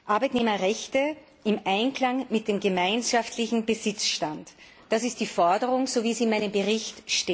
Arbeitnehmerrechte im Einklang mit dem gemeinschaftlichen Besitzstand, das ist die Forderung in meinem Bericht.